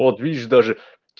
вот видишь даже